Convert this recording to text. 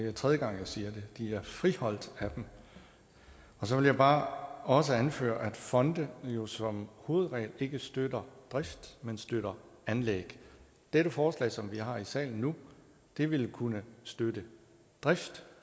er tredje gang jeg siger det de er friholdt af dem og så vil jeg bare også anføre at fonde jo som hovedregel ikke støtter drift men støtter anlæg det forslag som vi har i salen nu vil vil kunne støtte drift